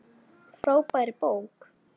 Frábær bók.